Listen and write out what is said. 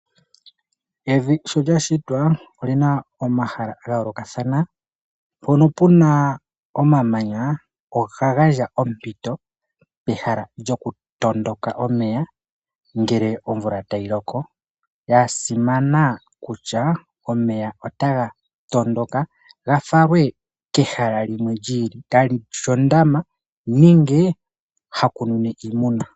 Evi sho oyashitwa olina omahala gayoloka dhana, pono puna omamanya oga gandja ompito pehala lyokutondoka omeya ngele omvula tayiloko, gasimana kutya omeya otanga tondoka gafalwe kehala limwe lyili kalishi ondama ninge hakuninwe iimuna.